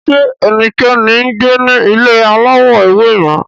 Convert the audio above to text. Ṣe ẹnikẹni ngbe ni ile alawọ ewe yẹn